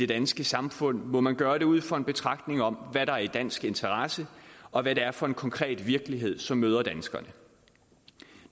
danske samfund må man gøre det ud fra en betragtning om hvad der er i dansk interesse og hvad det er for en konkret virkelighed som møder danskerne